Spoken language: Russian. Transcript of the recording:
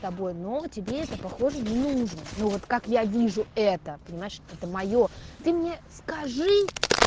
тобой но тебе это похоже не нужна ну вот как я вижу это понимаешь это моё ты мне скажи